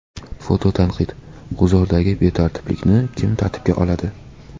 Fototanqid: G‘uzordagi betartiblikni kim tartibga oladi?.